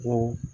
Ko